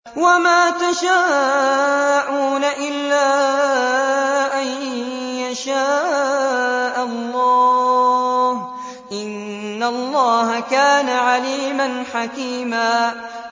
وَمَا تَشَاءُونَ إِلَّا أَن يَشَاءَ اللَّهُ ۚ إِنَّ اللَّهَ كَانَ عَلِيمًا حَكِيمًا